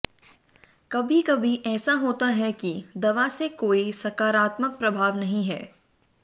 कभी कभी ऐसा होता है कि दवा से कोई सकारात्मक प्रभाव नहीं है